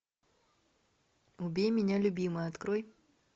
убей меня любимый открой